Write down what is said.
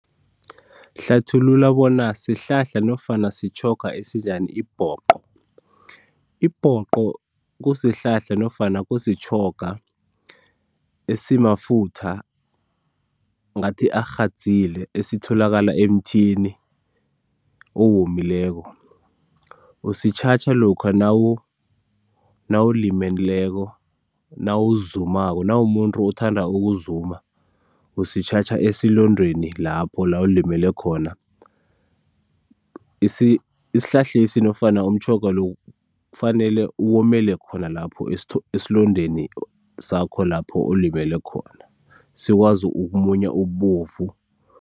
Hlathulula bona sihlahla nofana sitjhoga esinjani ibhoqo. Ibhoqo kusihlahla nofana kusitjhoga esimafutha, ngathi arhadzile esitholakala emthini owomileko. Usitjhajha lokha nawu, nawulimeleko, nawuzumako nawumumuntu othanda ukuzuma, usitjhatjha esilondeni lapho la ulimele khona. isihlahlesi nofana umtjhoga lo kufanele uwomele khona lapho esilondeni sakho, lapho olimele khona, sikwazi ukumunya ububovu